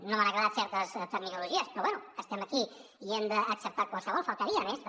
no m’han agradat certes terminologies però bé estem aquí i hem d’acceptar ne qualsevol només faltaria també